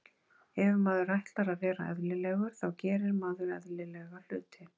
Ef maður ætlar að vera eðlilegur þá gerir maður eðlilega hluti.